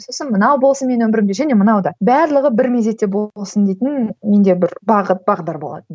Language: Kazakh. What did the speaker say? сосын мынау болсын менің өмірімде және мынау да барлығы бір мезетте болсын дейтін менде бір бағыт бағдар болатын